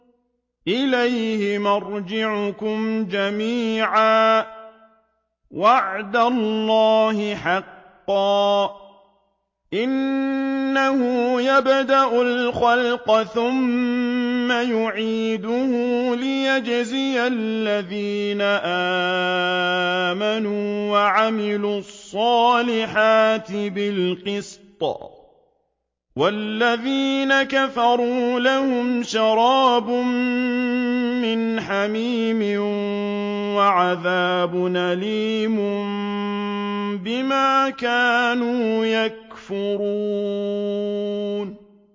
إِلَيْهِ مَرْجِعُكُمْ جَمِيعًا ۖ وَعْدَ اللَّهِ حَقًّا ۚ إِنَّهُ يَبْدَأُ الْخَلْقَ ثُمَّ يُعِيدُهُ لِيَجْزِيَ الَّذِينَ آمَنُوا وَعَمِلُوا الصَّالِحَاتِ بِالْقِسْطِ ۚ وَالَّذِينَ كَفَرُوا لَهُمْ شَرَابٌ مِّنْ حَمِيمٍ وَعَذَابٌ أَلِيمٌ بِمَا كَانُوا يَكْفُرُونَ